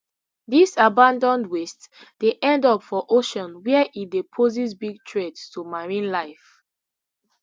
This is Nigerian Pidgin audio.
dis abanAcceptedd waste dey end up for ocean wia e dey poses big threat to marine life